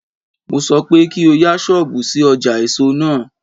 Mo ní pé kò o yá ṣọ́bùù sí ọjà èso náà.